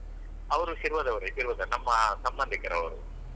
ಹೌದು ಅವ್ರು ಶಿರ್ವದವರೇ ಶಿರ್ವದ ನಮ್ಮ ಸಂಬಂಧಿಕರು ಅವ್ರು.